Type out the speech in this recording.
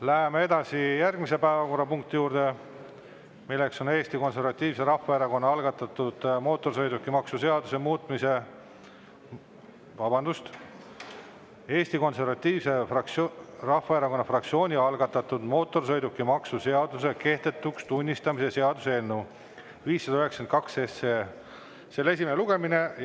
Läheme edasi järgmise päevakorrapunkti juurde, milleks on Eesti Konservatiivse Rahvaerakonna algatatud mootorsõidukimaksu seaduse kehtetuks tunnistamise seaduse eelnõu 592 esimene lugemine.